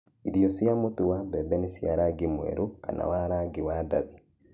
irio cia mũtu wa mbembe nĩ cia rangi mwerũ kana wa rangi wa ndathi